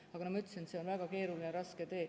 Aga nagu ma ütlesin, see on väga keeruline ja raske tee.